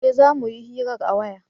eh za muyi hiran a waya